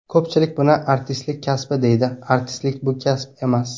Ko‘pchilik buni artistlik kasbi deydi, artistlik bu kasb emas.